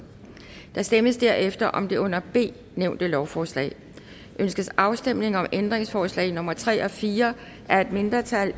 der stemmes herefter om det under b nævnte lovforslag ønskes afstemning om ændringsforslag nummer tre og fire af et mindretal